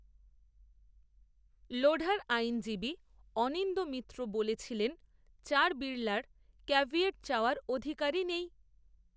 লোঢার, আইনজীবী অনিন্দ্য মিত্র, বলেছিলেন চার বিড়লার ক্যাভিয়েট চাওয়ার অধিকারই, নেই